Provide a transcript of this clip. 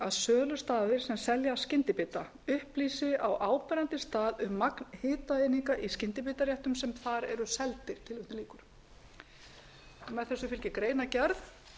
sölustaðir sem selja skyndibita upplýsi á áberandi stað um magn hitaeininga í skyndibitaréttum sem þar eru seldir með þessu fylgir greinargerð